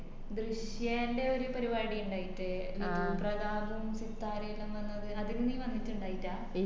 ദൃശ്യേന്റെ ഒര് പരിപാടി ഇണ്ടായിറ്റിലെ വിധു പ്രതാബും സിതാരെല്ലാം വന്നെ ഒര് അതിന് നീ വന്നിറ്റി ണ്ടായില്ല